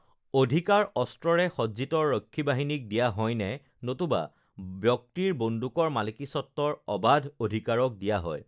অধিকাৰ অস্ত্ৰৰে সজ্জিত ৰক্ষীবাহিনীক দিয়া হয়নে, নতুবা ব্যক্তিৰ বন্দুকৰ মালিকীস্বত্বৰ অবাধ অধিকাৰক দিয়া হয়?